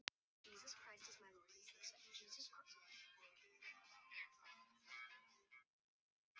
Með því að drekka út í eitt.